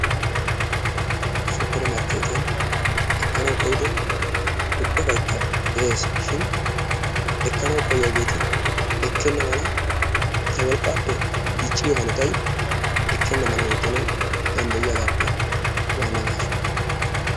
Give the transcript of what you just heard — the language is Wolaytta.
Supemarkkeettiyan ekkanawu koyyido ubbaykka de'es shin ekkanawu koyyiyageeti ekkenna mala eta wolqqaappe dicciyo hanotayi ekkenna mala oottanawu danddayiyagaappe waanna gaaso.